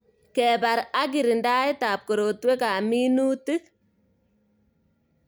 Kebar ak kirindaet ab korotwek ab minutik